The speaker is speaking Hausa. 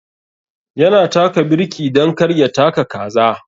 Ya na taka birki dan kar ya taka kaza.